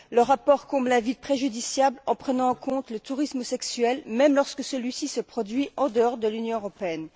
Le rapport comble un vide préjudiciable en prenant en compte le tourisme sexuel, même lorsque celui ci s'effectue en dehors de l'Union européenne.